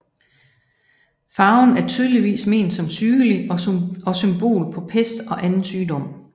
Farven er tydeligvis ment som sygelig og symbol på pest og anden sygdom